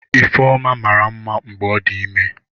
Ifeoma mara mma mgbe ọ dị ime.